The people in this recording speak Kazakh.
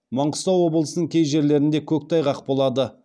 маңғыстау облысының кей жерлерінде көктайғақ болады